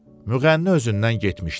Müğənni özündən getmişdi.